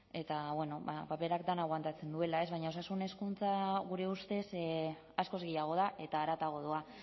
eta paperak dena aguantatzen duela baina osasun hezkuntza gure ustez askoz gehiago da eta haratago doa